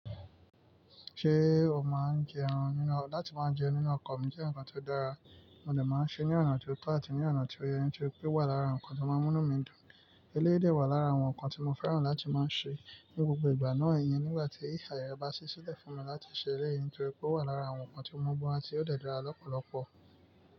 Ṣé o máa ń jẹ ẹran nínú-- láti máa ń jẹ nínú ọkọ̀ mi jẹ́ nǹkan tó dára, mo dà máa ń ṣe ní ọ̀nà tó tọ́ àti ní ọ̀nà tó yẹ ní nítorí pé ó wà lára nǹkan tó mánú mi dùn. Eléyìí de wà lára àwọn nǹkan tí mo fẹ́ràn láti máa ń ṣe ní gbogbo ìgbà náà iyẹn nígbà tí àyè bá ṣẹ́ sílẹ̀ fún mi láti ṣe eléyìí nítorí pé ó wà lára àwọn nǹkan tí mo maá n se, ó dẹ̀ dára lọ́pọ̀lọpọ̀.